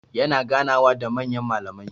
Yana ganawa da manyan mallamai.